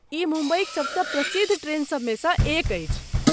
ई मुम्बईक सबसँ प्रसिद्ध ट्रेनसभमे सँ एक अछि।